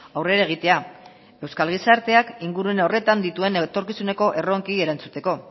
aurrera egitea euskal gizarteak ingurune horretan dituen etorkizuneko erronkei erantzuteko